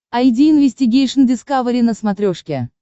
айди инвестигейшн дискавери на смотрешке